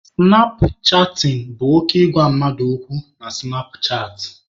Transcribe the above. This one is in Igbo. Sụnap chatịn bụ oke ịgwa mmadụ okwu na sụnap chaatị.